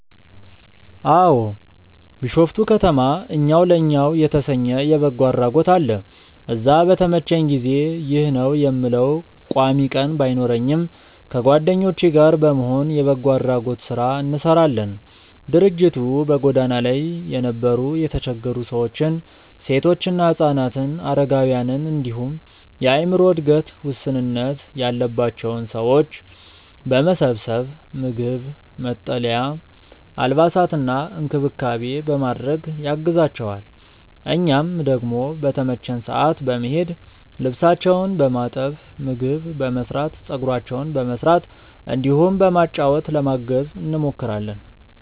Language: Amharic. አዎ። ቢሾፍቱ ከተማ እኛው ለእኛው የተሰኘ የበጎ አድራጎት አለ። እዛ በተመቸኝ ጊዜ (ይህ ነው የምለው ቋሚ ቀን ባይኖረኝም) ከጓደኞቼ ጋር በመሆን የበጎ አድራጎት ስራ እንሰራለን። ድርጅቱ በጎዳና ላይ የነበሩ የተቸገሩ ሰዎችን፣ ሴቶችና ህፃናትን፣ አረጋውያንን እንዲሁም የአዕምሮ እድገት ውስንነት ያለባቸውን ሰዎች በመሰብሰብ ምግብ፣ መጠለያ፣ አልባሳትና እንክብካቤ በማድረግ ያግዛቸዋል። እኛም ደግሞ በተመቸን ሰዓት በመሄድ ልብሳቸውን በማጠብ፣ ምግብ በመስራት፣ ፀጉራቸውን በመስራት እንዲሁም በማጫወት ለማገዝ እንሞክራለን።